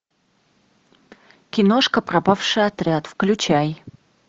киношка пропавший отряд включай